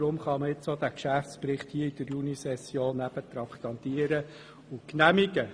Deshalb kann man den Geschäftsbericht nun in der Junisession traktandieren und genehmigen.